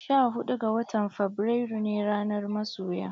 Sha huɗu ga watan Fabrairu ne ranar masoya.